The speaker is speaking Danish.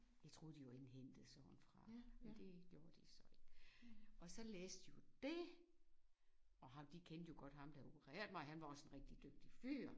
Jeg troede de var indhentede sådan noget fra men det gjorde de så ikke. Og så læste hun det og har de kendte jo godt ham der havde opereret mig og han var også en rigtig dygtig fyr